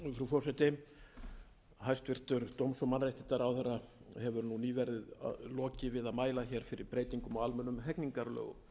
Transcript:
og mannréttindaráðherra hefur nú nýverið lokið við að mæla hér fyrir breytingum á almennum hegningarlögum